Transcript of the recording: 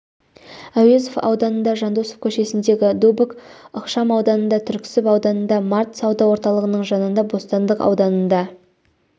әуезов ауданында жандосов көшесіндегі дубок ықшам ауданында түрксіб ауданында март сауда орталығының жанында бостандық ауданында